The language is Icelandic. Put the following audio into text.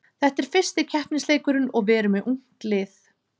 Þetta er fyrsti keppnisleikurinn og við erum með ungt lið.